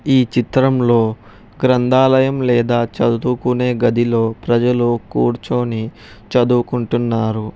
ఈ చిత్రంలో గ్రంథాలయం లేదా చదువుకునే గదిలో ప్రజలు కూర్చొని చదువుకుంటున్నారు.